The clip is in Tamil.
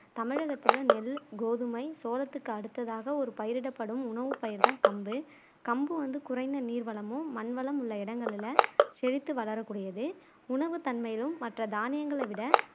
தமிழகத்துல நெல் கோதுமை சோளத்துக்கு அடுத்ததாக ஒரு பயிரிடப்படும் உணவுப்பயிர் தான் கம்பு கம்பு வந்து குறைந்த நீர் வளமும் மண் வளம் உள்ள இடங்கள்ல செழித்து வளரக்கூடியது உணவு தன்மையிலும் மற்ற தானியங்களை விட